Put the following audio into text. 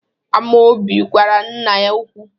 Amaobi gwara nna ya okwu.